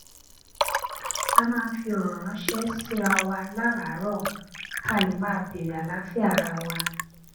a máa ń fi òrò ránṣé síra wa láràárọ ká lè máa bèèrè àlàáfíà ara wa